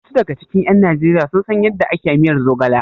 Wasu daga cikin ƴan Najeriya sun san yadda ake miyar zogala?